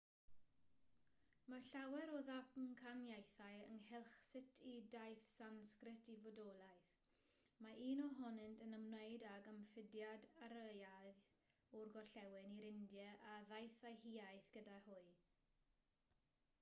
mae llawer o ddamcaniaethau ynghylch sut y daeth sansgrit i fodolaeth mae un ohonynt yn ymwneud ag ymfudiad aryaidd o'r gorllewin i'r india a ddaeth â'u hiaith gyda hwy